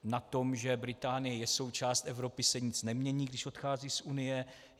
Na tom, že Británie je součást Evropy, se nic nemění, když odchází z Unie.